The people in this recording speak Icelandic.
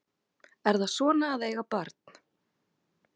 Er það svona að eiga barn?